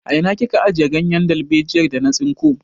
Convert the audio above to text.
A ina kika ajiye ganyen dalbejiyar da na tsinko?